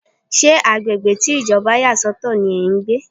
Ṣé agbègbè tí Ìjọba yà sọ̀tọ̀ ní ẹ́ ń gbé?